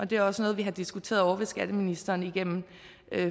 det er også noget vi har diskuteret ovre hos skatteministeren igennem